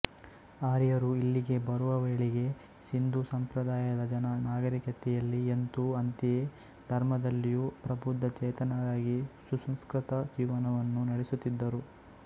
ಆರ್ಯರು ಇಲ್ಲಿಗೇ ಬರುವವೇಳೆಗೆ ಸಿಂದೂಸಂಪ್ರದಾಯದ ಜನ ನಾಗರಿಕತೆಯಲ್ಲಿ ಎಂತೋ ಅಂತೆಯೇ ಧರ್ಮದಲ್ಲಿಯೂ ಪ್ರಬುದ್ದ ಚೇತನರಾಗಿ ಸುಸಂಸ್ಕೃತ ಜೀವನವನ್ನು ನಡೆಸುತ್ತಿದ್ದರು